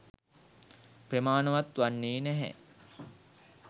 ප්‍රමාණවත් වන්නේ නැහැ